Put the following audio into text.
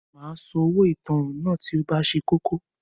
Màá San owó ìtanràn náà tí o bá ṣe kókó